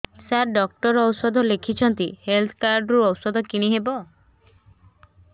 ସାର doctor ଔଷଧ ଲେଖିଛନ୍ତି health card ରୁ ଔଷଧ କିଣି ହେବ